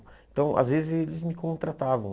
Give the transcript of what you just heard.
Então, às vezes, eles me contratavam.